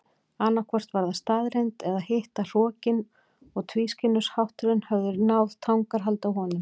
Annaðhvort var það staðreynd eða hitt að hrokinn og tvískinnungshátturinn höfðu náð tangarhaldi á honum.